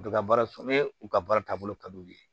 U bɛ ka baara sɔrɔ ni u ka baara taabolo ka di u ye